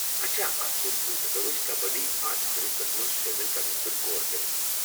اچھا، اتھ صوٗرتس منٛز ہیكو أسۍ کبڈی اتھ فہرستس منٛز شٲمل كرنس پیٹھ غور كرِتھ ؟